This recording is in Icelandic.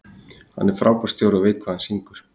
Hann er frábær stjóri og veit alveg hvað hann syngur.